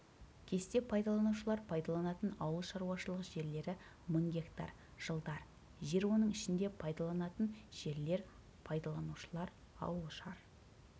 кесте пайдаланушылар пайдаланатын ауылшаруашылық жерлері мың гектар жыл дар жер оның ішінде пайдаланылатын жерлер пайдаланушылар ауылшар